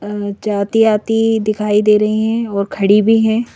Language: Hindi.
जाती आती दिखाई दे रही हैं और खड़ी भी हैं।